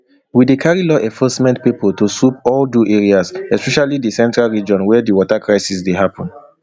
we dey carry law enforcement pipo to swoop all do areas especially di central region wia di water crisis don dey happun